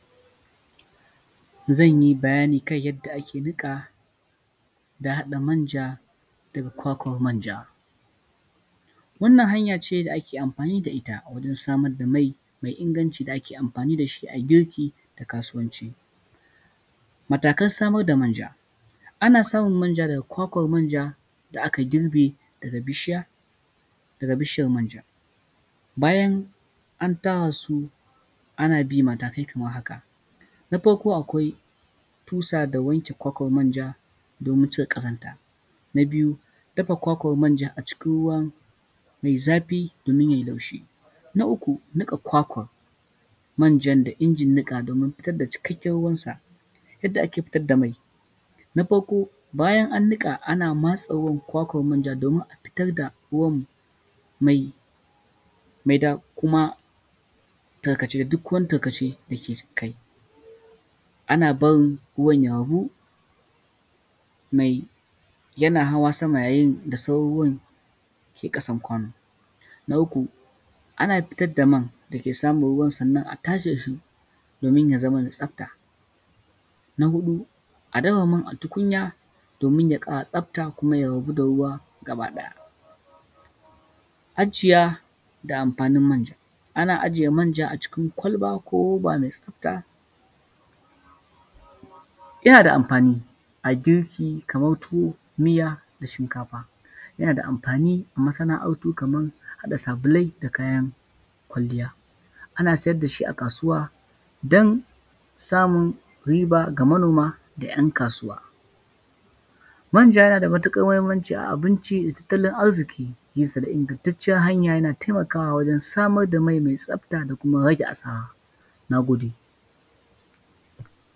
Zan yi bayani kan yadda ake nika da haɗa manja daga kwakwan manja, wannan hanya ce da ake amfani da ita wajen samar da mai mai inganci da ake amfani da shi ayi girki da kasuwanci, matakan samar da manja ana samun manja daga kwakwan manja da aka girɓe daga bishiya daga bishiyar manja, bayan an tara su ana bin matakai kamar haka, na farko akwai tusa da wanke kwakwan manja domin cire kazanta, na biyu dafa kwakwan manja a cikin ruwa mai zafi domin yayi laushi, na uku nika kwakwan manjan da injin nika domin fitar da cikakken ruwan sa, yadda ake fitar da mai, na farko bayan an nika ana matse ruwan kwakwan manja domin a fitar da ruwan mai da kuma duk wani tarkace da ke kai, ana barin ruwan ya ragu, mai yana hawa sama yayin da sauran ruwan ke kasan kwano, na uku ana fitar da mai dake saman ruwan sannan a tace shi domin ya zama da tsafta, na hudu a ɗaura man a tukunya domin ya kara tsafta kuma ya rabu da ruwa gaba ɗaya, ajiya da amfanin manja, ana ajiye manja a cikin kwalba ko abubuwa mai tsafta, yana da amfani a girki kamar tuwo, miya, da shinkafa, yana da amfani a masana’ar tuka mai, haɗa sabulai da kayan kwaliya, ana siyar da shi a kasuwa don samun riba ga manoma da ‘yan kasuwa, manja yana da matuƙar muhimmanci a abinci, tattalin arziki, nesa da ingantacen hanya yana taimakawa wajen samar da mai me tsafta da kuma rage asara, na gode.